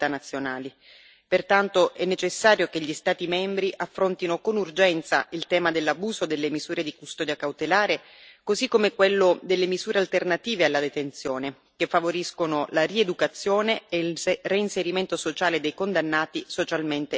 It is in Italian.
Pertanto, è necessario che gli Stati membri affrontino con urgenza il tema dell'abuso delle misure di custodia cautelare, così come quello delle misure alternative alla detenzione che favoriscono la rieducazione e il reinserimento sociale dei condannati, socialmente non pericolosi.